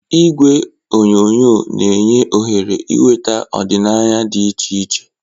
Igwe onyonyo na-enye ohere ịnweta ọdịnaya dị iche iche.